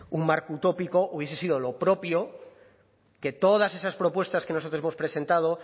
un marco utópico hubiese sido lo propio que todas esas propuestas que nosotros hemos presentado